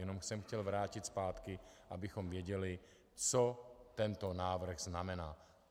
Jenom jsem chtěl vrátit zpátky, abychom věděli, co tento návrh znamená.